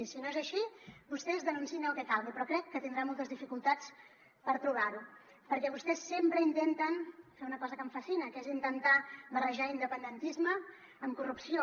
i si no és així vostès denunciïn el que calgui però crec que tindrà moltes dificultats per provar ho perquè vostès sempre intenten fer una cosa que em fascina que és intentar barrejar independentisme amb corrupció